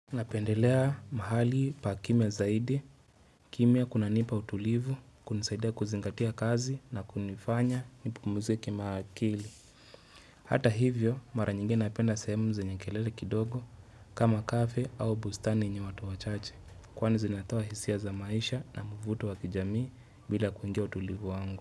Napendelea mahali pakimia zaidi, kimya kunanipa utulivu, kunisaidia kuzingatia kazi na kunifanya nipumuzike ma akili. Hata hivyo, mara nyingi napenda sahemu zenye kelele kidogo kama kafe au bustani yenye watu wachache. Kwani zinatoa hisia za maisha na muvuto wa kijamii bila kuingia utulivu wangu.